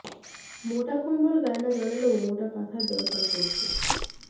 মোটা কম্বল গায়ে না জড়ালেও মোটা কাঁথার দরকার পড়ছে